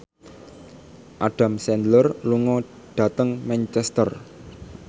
Adam Sandler lunga dhateng Manchester